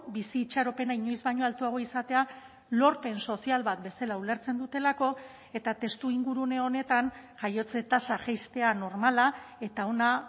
bizi itxaropena inoiz baino altuago izatea lorpen sozial bat bezala ulertzen dutelako eta testu ingurune honetan jaiotze tasa jaistea normala eta ona